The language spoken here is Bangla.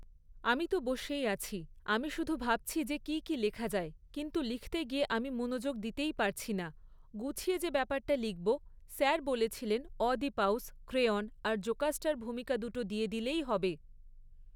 আমি তো বসেই আছি, আমি শুধু ভাবছি যে কী কী লেখা যায়, কিন্তু লিখতে গিয়ে আমি মনোযোগ দিতেই পারছি না, গুছিয়ে যে ব্যাপারটা লিখবো, স্যার বলেছিলেন অয়দিপাউস, ক্রেওণ আর জোকাস্টার ভূমিকা দুটো দিয়ে দিলেই হবে।